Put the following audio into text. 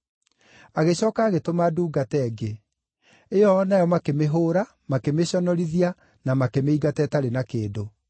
Agĩcooka agĩtũma ndungata ĩngĩ, ĩyo o nayo makĩmĩhũũra makĩmĩconorithia na makĩmĩingata ĩtarĩ na kĩndũ.